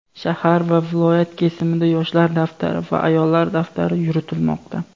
shahar va viloyat kesimida "yoshlar daftari" va "ayollar daftari" yuritilmoqda.